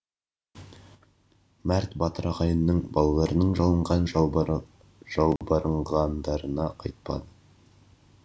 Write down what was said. мәрт батыр ағайынның балаларының жалынған жалбарынғандарына қайтпады